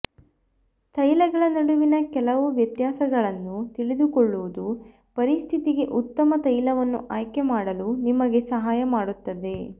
ತೈಲಗಳ ನಡುವಿನ ಕೆಲವು ವ್ಯತ್ಯಾಸಗಳನ್ನು ತಿಳಿದುಕೊಳ್ಳುವುದು ಪರಿಸ್ಥಿತಿಗೆ ಉತ್ತಮ ತೈಲವನ್ನು ಆಯ್ಕೆ ಮಾಡಲು ನಿಮಗೆ ಸಹಾಯ ಮಾಡುತ್ತದೆ